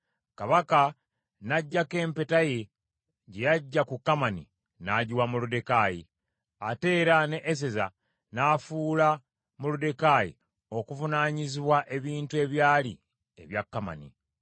Kabaka n’aggyako empeta ye gye yaggya ku Kamani n’agiwa Moluddekaayi, ate era ne Eseza n’afuula Moluddekaayi okuvunaanyizibwa ebintu ebyali ebya Kamani.